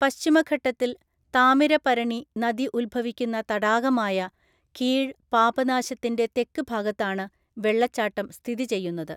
പശ്ചിമഘട്ടത്തില്‍ താമിരപരണി നദി ഉത്ഭവിക്കുന്ന തടാകമായ കീഴ് പാപനാശത്തിന്റെ തെക്ക് ഭാഗത്താണ് വെള്ളച്ചാട്ടം സ്ഥിതി ചെയ്യുന്നത്.